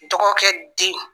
Dɔgɔ kɛ den.